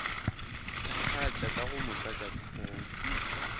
thakgatša ka go motlatša go